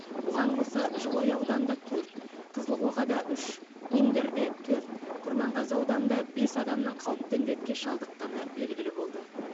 бұған қоса жылыой ауданында төрт қызылқоғада үш индерде төрт құрманғазы ауданында бес адамның қауіпті індетке шалдыққаны белгілі болды